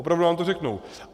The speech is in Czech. Opravdu vám to řeknou.